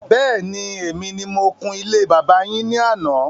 Bẹ́ẹ̀ni, èmi ni mo kun ilé bàbá yín ní àná